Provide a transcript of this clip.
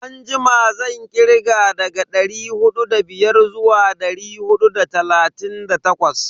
Anjima zan kirga daga dari hudu da biyar zuwa dari hudu da talatin da takwas.